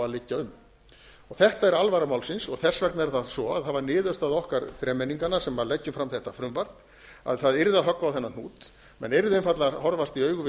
um þetta er alvara málsins og þess vegna er það svo að það var niðurstaða okkar þremenninganna sem leggjum fram þetta frumvarp að það yrði að höggva á þennan hnút menn yrðu einfaldlega að horfast í augu við